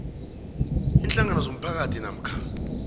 iinhlangano zomphakathi namkha